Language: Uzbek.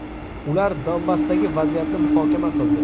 Ular Donbassdagi vaziyatni muhokama qildi.